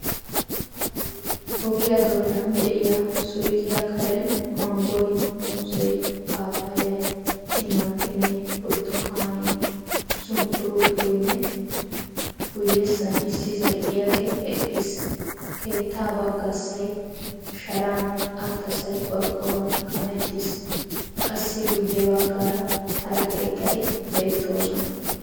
Ogiyaa doonan de"iyaa suyqqiyaa karen, manggoy, muuzzee, paappayyay, timatimee, burttukanee, sunkkuruutoynne guyessan issi zal"iyaagee eqqiis. keettaa baggassay sharan attassay qorqqoruwan kamettiis. kassi guye baggaara hara keettati beettoosona.